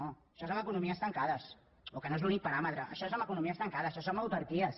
no això és en les economies tancades o que no és l’únic paràmetre això és en economies tancades això és en autarquies